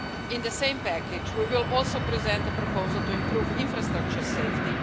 In the same package we will also present a proposal to improve infrastructure safety.